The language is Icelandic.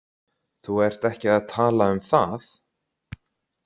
Þú ert ekki að tala um það?